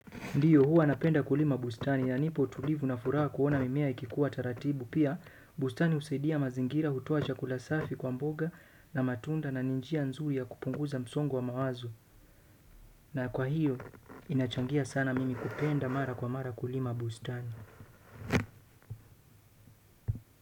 Ndiyo huwa napenda kulima bustani ya nipo tulivu na furaha kuona mimea ikikuwa taratibu pia bustani husaidia mazingira hutoa chakula safi kwa mboga na matunda na ni njia nzuri ya kupunguza msongo wa mawazo. Na kwa hiyo, inachangia sana mimi kupenda mara kwa mara kulima bustani.